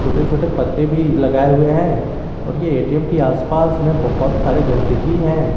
छोटे छोटे पत्ते भी लगाए हुए हैं और ये ए_टी_एम के आसपास में बहोत सारी गंदगी है।